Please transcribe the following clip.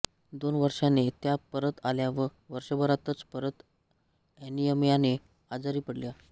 दोन वर्षाने त्या परत आल्या व वर्षाभरातच परत एनीमियाने आजारी पडल्या